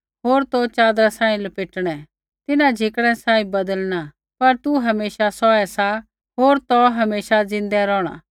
होर तौ ते च़ादरा सांही लपेटणै तिन्हां झिकड़ै सांही बदलिणा पर तू हमेशा सौहै सा होर तौ हमेशा ज़िन्दै रौहणा